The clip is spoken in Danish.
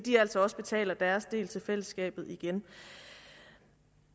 altså også betaler deres del til fællesskabet igen